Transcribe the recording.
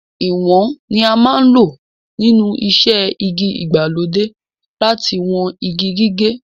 Ìwọ̀n ni a máa ń lò nínú iṣẹ́ igi ìgbàlódé láti wọn igi gígé.